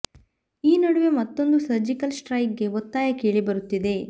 ಈ ನಡುವೆ ಮತ್ತೊಂದು ಸರ್ಜಿಕಲ್ ಸ್ಟ್ರೈಕ್ ಗೆ ಒತ್ತಾಯ ಕೇಳಿ ಬರುತ್ತಿದೆ